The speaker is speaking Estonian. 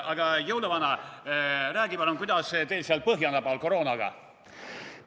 Aga, jõuluvana, räägi palun, kuidas teil seal põhjanabal koroonaga on?